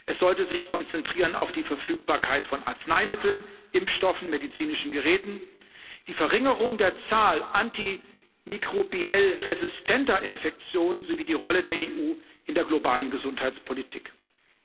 Es sollte sich auf die Verfügbarkeit von Arzneimitteln, Impfstoffen und medizinischen Geräten, die Verringerung der Zahl antimikrobiell resistenter Infektionen sowie die Rolle der EU in der globalen Gesundheitspolitik konzentrieren.